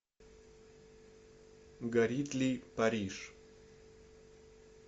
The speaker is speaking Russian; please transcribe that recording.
горит ли париж